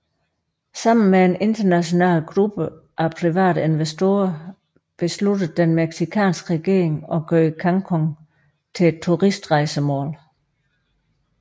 Sammen med en international gruppe af private investorer besluttede den mexicanske regering at gøre Cancún til et turistrejsemål